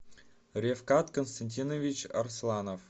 ревкат константинович арсланов